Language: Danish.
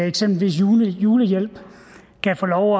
eksempel giver julehjælp kan få lov